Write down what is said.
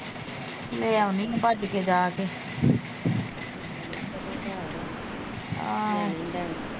ਲੈ ਆਉਣੀ ਆ ਭੱਜ ਕੇ ਜਾ ਕੇ ਆਹੋ